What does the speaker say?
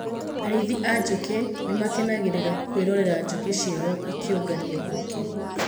Arĩithi a njukĩ nĩ makenagĩra kwĩrorera njukĩ ciao ikĩũngania ũkĩ.